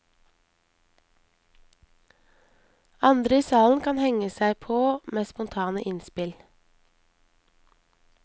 Andre i salen kan henge seg på med spontane innspill.